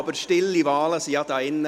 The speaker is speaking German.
Aber stille Wahlen sind ja hier drin …